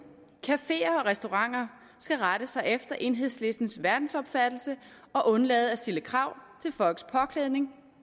cafeer og restauranter skal rette sig efter enhedslistens verdensopfattelse og undlade at stille krav til folks påklædning